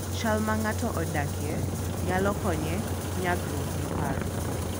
Chal ma ng'ato odakie nyalo konye nyagruok gi parruok.